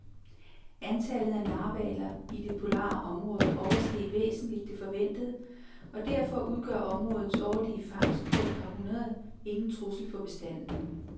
Antallet af narhvaler i det polare område oversteg væsentligt det forventede, og derfor udgør områdets årlige fangst på et par hundrede ingen trussel for bestanden.